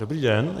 Dobrý den.